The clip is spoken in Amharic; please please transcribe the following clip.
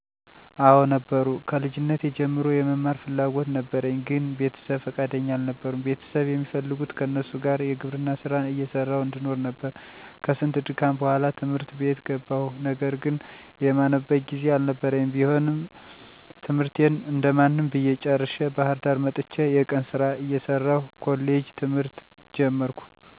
*አወ ነበሩ፦ ከልጅነቴ ጀምሮ የመማር ፍላጎት ነበረኝ ግን ቤተሰብ ፍቃደኛ አልነበሩም ቤተሰብ የሚፈልጉት ከነሱ ጋር የግብርና ስራ እየሰራሁ እንድኖር ነበር፤ ከስንት ድካም በኋላ ት/ት ቤት ገባሁ ነገር ግን የማነብበት ጊዜ አልነበረኝም ቢሆንም ትምህርቴን እንደማንም ብዬ ጨርሸ፤ ባህርዳር መጥቸ የቀን ስራ እየሰራሁ ኮሌጅ ትምህርት ጀመርኩ፤ ሶስት አመት ተከታታይ ተምሬ ተመረከሁ። ከእነደዚህ አይነት ተፅዕኖ ለመውጣት ትግስትና ፅናት ያስፈልጋል።